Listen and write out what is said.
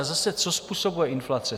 A zase, co způsobuje inflace?